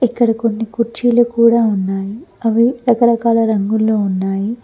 ఇక్కడ కొన్ని కుర్చీలు కూడా ఉన్నాయి అవి రకరకాల రంగుల్లో ఉన్నాయి.